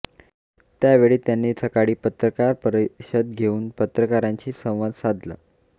त्यावेळी त्यांनी सकाळी पत्रकार परीषद घेऊन पत्रकारांशी संवाद साधला